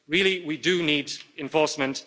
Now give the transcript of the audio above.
We really we do need enforcement.